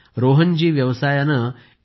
रोहन व्यवसायाने एच